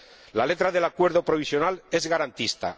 La letra del Acuerdo provisional es garantista.